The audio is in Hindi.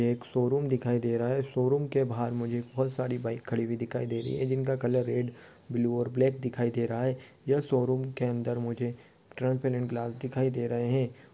यह एक शोरूम दिखाई दे रहा है शोरूम के बाहर मुझे बहुत सारी बाईक खड़ी हुई दिखाई दे रही है जिनका कलर रेड ब्लू और ब्लैक दिखाई दे रहा है यह शोरूम के अन्दर मुझे ट्रांसपेरेंट ग्लास दिखाई दे रहे है।